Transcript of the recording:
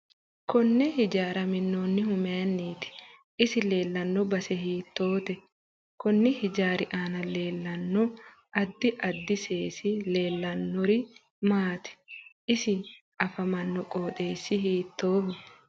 Konne hijaara minoonihu mayiiniiti isi leelanno base hiitoote konni hijaari aana leelanno addi addi seesi leeliahanori maati isi afamanno qoxeeai hiitooho